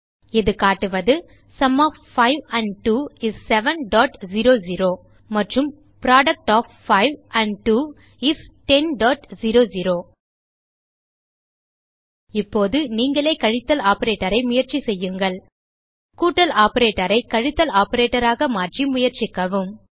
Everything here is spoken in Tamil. இது காட்டுவது சும் ஒஃப் 5 ஆண்ட் 2 இஸ் 700 மற்றும் புரொடக்ட் ஒஃப் 5 ஆண்ட் 2 இஸ் 1000 இப்போது நீங்களே கழித்தல் ஆப்பரேட்டர் ஐ முயற்சிசெய்யுங்கள் கூட்டல் ஆப்பரேட்டர் ஐ கழித்தல் ஆப்பரேட்டர் ஆக மாற்றி முயற்சிக்கவும்